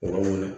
O yɔrɔ mun na